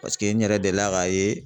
Paseke n yɛrɛ delila k'a ye